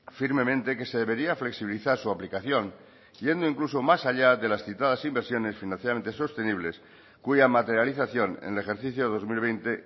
firmemente que se debería flexibilizar su aplicación yendo incluso más allá de las citadas inversiones financieramente sostenibles cuya materialización en el ejercicio dos mil veinte